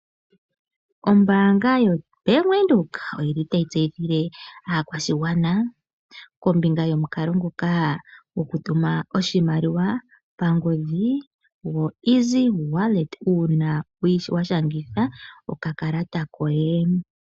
Ombanga yoBank Windhoek, oyi li tayi tseyithile aakwashigwana kombinga yomukalo nguka gokutuma oshimaliwa pangodhi gwoEasy Wallet uuna wa shangitha okakalata koye